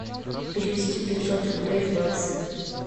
перевести пятьсот рублей в баксы